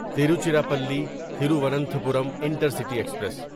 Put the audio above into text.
Tiruchirappalli Thiruvananthapuram intercity express